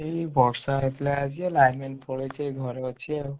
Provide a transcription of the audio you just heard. ଏଇ ବର୍ଷା ହଉଥିଲା line ଫାଇନ ପଳେଇଛି ଘରେ ଅଛି ଆଉ।